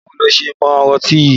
Báwo lo ṣe mọ ọtí yìí?